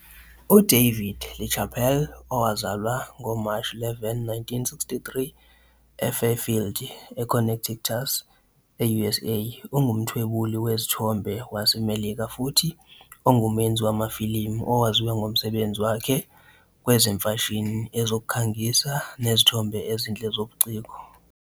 UDavid LaChapelle owazalwa ngoMashi 11, 1963 eFairfield, e-Connecticut, e-USA, ungumthwebuli wezithombe waseMelika futhi ongumenzi wamafilimu owaziwa ngomsebenzi wakhe kwezemfashini, ezokukhangisa nezithombe ezinhle zobuciko.